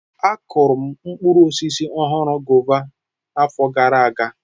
Akuru m mkpụrụ ọhụrụ, guava, afọ gara aga.